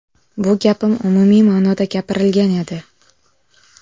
Bu gapim umumiy ma’noda gapirilgan edi.